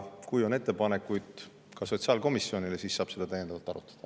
Kui on ettepanekuid sotsiaalkomisjonile, siis saab neid täiendavalt arutada.